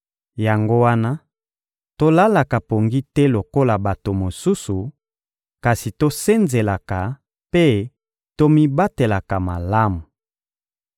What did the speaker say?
Yango wana tolalaka pongi te lokola bato mosusu, kasi tosenzelaka mpe tomibatelaka malamu.